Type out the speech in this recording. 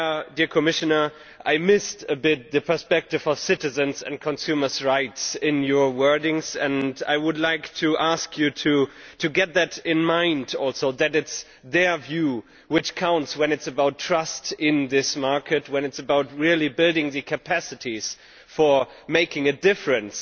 Dear Commissioner, I missed a bit the perspective of citizens' and consumers' rights in your words and I would like to ask you to keep that in mind also, that it is their view which counts when it is about trust in this market, about really building the capacities for making a difference.